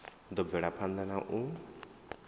ḓo bvela phanḓa na u